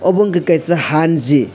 abo ongka kei kaisa hun ji.